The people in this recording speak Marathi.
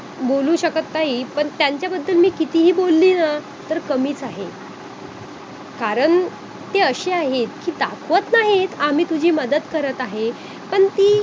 बोलू शकत नाही पण त्यांच्याबद्दल मी कितीही बोलले ना तर कमीच आहे कारण ते अशे आहेत कि दाखवत नाहीत आम्ही तुझी मदत करत आहे पण ती